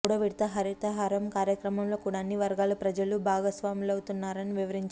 మూడో విడత హరితహారం కార్యక్రమంలో కూడా అన్ని వర్గాలు ప్రజలు భాగస్వాములవుతున్నారని వివరించారు